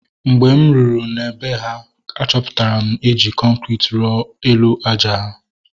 Mgbe m ruru na bee ha, achọpụtara na eji kọnkriti rụọ elu àjà ha